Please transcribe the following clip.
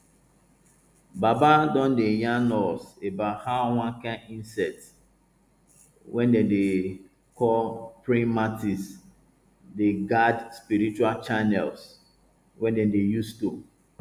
baba don dey yarn us about how one kain insect wey dem dey call praying mantis dey guard spiritual channels wey dem dey use to